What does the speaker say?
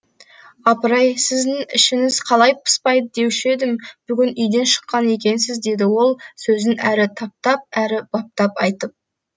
апыр ай сіздің ішіңіз қалай пыспайды деуші едім бүгін үйден шыққан екенсіз деді ол сөзін әрі таптап әрі баптап айтып